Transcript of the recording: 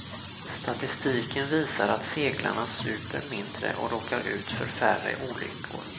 Statistiken visar att seglarna super mindre och råkar ut för färre olyckor.